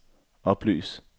oplys